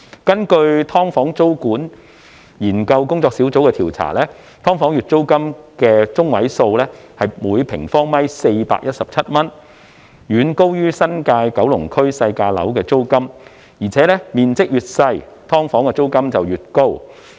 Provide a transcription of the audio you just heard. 根據"劏房"租務管制研究工作小組的調查，"劏房"月租中位數為每平方米417元，遠高於新界區及九龍區內"細價樓"的租金，而且"劏房"面積越小，每平方米月租便越高。